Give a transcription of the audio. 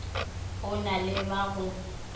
o na le ba go